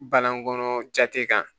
Banagɔnɔ jate kan